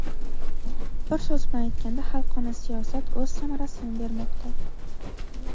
Bir so‘z bilan aytganda "Xalqona" siyosat o‘z samarasini bermoqda.